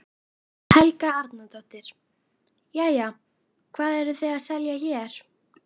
Helga Arnardóttir: Jæja, hvað eruð þið að selja hér?